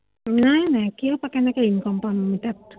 নাই নাই, কিয়, কেনেকে income পাম তাত!